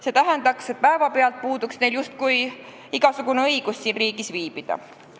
See tähendaks, et neil puuduks päevapealt õigus siin riigis viibida.